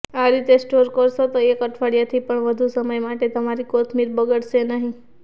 આ રીતે સ્ટોર કરશો તો એક અઠવાડિયાથી પણ વધુ સમય માટે તમારી કોથમીર બગડશે નહિ